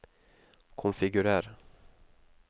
konfigurer